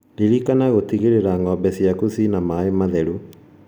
Ririkana gũtigĩrĩra ng'ombe ciaku ciĩna maĩĩ matheru